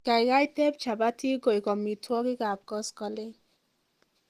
kaigai teeb jabatik koik amitwogik ab koskoleng